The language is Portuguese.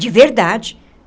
De verdade.